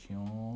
Tinha um...